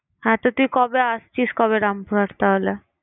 হ্যাঁ তো তুই কবে আসছিস কবে রামপুরহাট তাহলে?